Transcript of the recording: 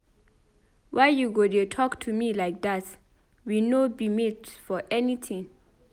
Why you go dey talk to me like dat? We no be mate for anything.